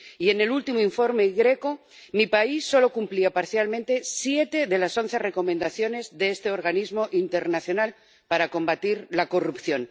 Y en el último informe GRECO mi país solo cumplía parcialmente siete de las once recomendaciones de este organismo internacional para combatir la corrupción.